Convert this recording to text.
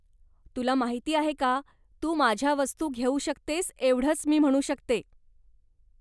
तुला माहिती आहे का, तू माझ्या वस्तू घेऊ शकतेस एवढंच मी म्हणू शकते.